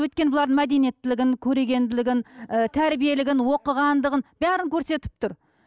өйткені бұлардың мәдениеттілігін көрегенділігін ы тәрбиелігін оқығандығын бәрін көрсетіп тұр